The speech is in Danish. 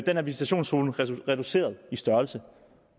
her visitationszone reduceret i størrelse